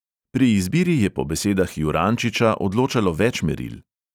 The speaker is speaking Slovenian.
Pri izbiri je po besedah jurančiča odločalo več meril.